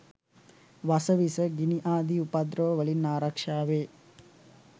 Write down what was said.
වස විස, ගිනි ආදි උපද්‍රව වලින් ආරක්‍ෂාවේ.